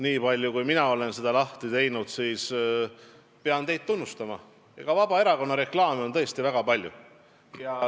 Niipalju kui mina olen seda lahti teinud, pean seal nähtu põhjal teid tunnustama, sest Vabaerakonna reklaami on tõesti väga palju.